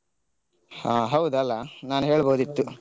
ಹಾ ಹೌದಲ್ಲಾ ನಾನ್ ಹೇಳ್ಬೋದಿತ್ತು.